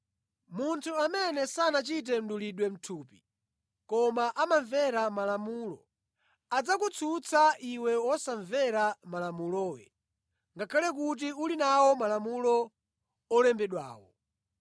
Munthu amene sanachite mdulidwe mʼthupi koma amamvera Malamulo adzakutsutsa iwe wosamvera Malamulowe, ngakhale kuti uli nawo Malamulo olembedwawo.